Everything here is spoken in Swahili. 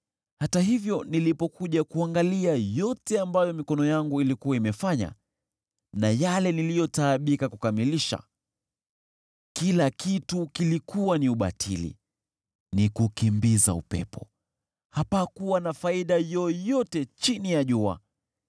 Hata hivyo nilipokuja kuangalia yote ambayo mikono yangu ilikuwa imefanya na yale niliyotaabika kukamilisha, kila kitu kilikuwa ni ubatili, ni kukimbiza upepo; hapakuwa na faida yoyote chini ya jua.